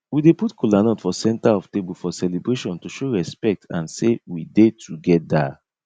we dey put kolanut for center of table for celebration to show respect and sey we dey together